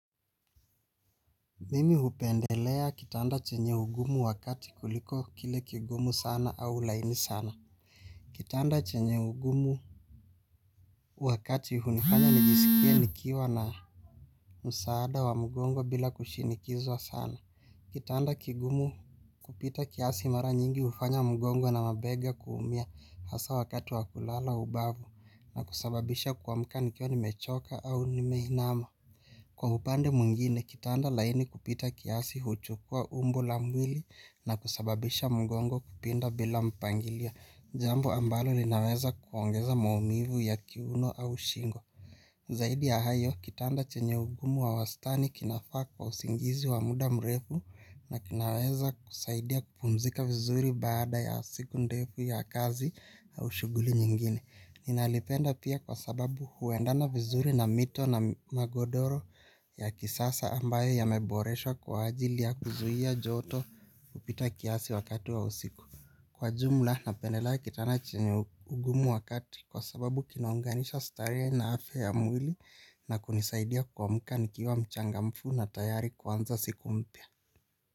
Mimi hupendelea kitanda chenye ugumu wa kati kuliko kile kigumu sana au laini sana. Kitanda chenye ugumu wa kati hunifanya nijiskie nikiwa na msaada wa mgongo bila kushinikizwa sana. Kitanda kigumu kupita kiasi mara nyingi hufanya mgongo na mabega kuumia, hasa wakati wa kulala ubavu na kusababisha kuamka nikiwa nimechoka au nimeinama. Kwa upande mwingine, kitanda laini kupita kiasi huchukua umbo la mwili na kusababisha mgongo kupinda bila mpangilio. Jambo ambalo linaweza kuongeza maumivu ya kiuno au shingo. Zaidi ya hayo, kitanda chenye ugumu wa wastani kinafaa kwa usingizi wa muda mrefu na kinaweza kusaidia kupumzika vizuri bada ya siku ndefu ya kazi au shuguli nyingine. Ninalipenda pia kwa sababu huendana vizuri na mito na magodoro ya kisasa ambayo yameboreshwa kwa ajili ya kuzuia joto kupita kiasi wakati wa usiku. Kwa jumla, napendelea kitanda chenye ugumu wa kati kwa sababu kinaunganisha starehe na afya ya mwili na kunisaidia kuamka nikiwa mchangamfu na tayari kuanza siku mpya.